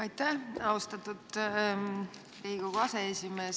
Aitäh, austatud Riigikogu aseesimees!